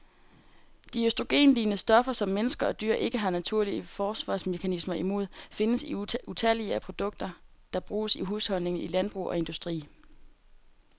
De østrogenlignende stoffer, som mennesker og dyr ikke har naturlige forsvarsmekanismer imod, findes i utallige produkter, der bruges i husholdninger, i landbrug og industri.